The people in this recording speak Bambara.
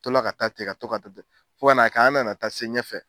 Tola ka taa ten ka to ka taa ten fo ka kɛ an nana taa se ɲɛfɛ.